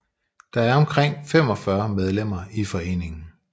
Der er omkring 45 medlemmer i foreningen